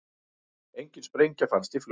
Engin sprengja fannst í flugvél